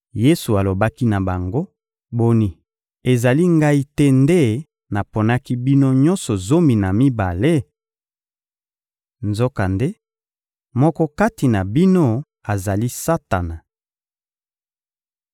Yesu alobaki na bango: — Boni, ezali Ngai te nde naponaki bino nyonso zomi na mibale? Nzokande, moko kati na bino azali Satana!